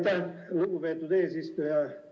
Aitäh, lugupeetud eesistuja!